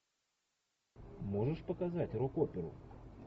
можешь показать рок оперу